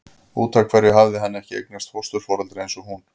Út af hverju hafði hann ekki eignast fósturforeldra eins og hún?